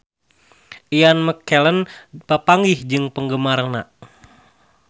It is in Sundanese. Ian McKellen papanggih jeung penggemarna